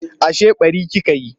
Ashe ɓari kika yi?